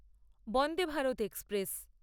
Vande Bharat express